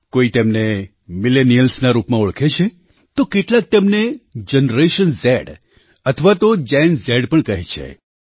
કોઈ તેમને Millenialsના રૂપમાં ઓળખે છે તો કેટલાક તેમને જનરેશન ઝ અથવાતો ગેન ઝ પણકહે છે